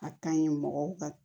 A ka ɲi mɔgɔw ka